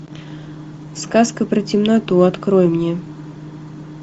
сказка про темноту открой мне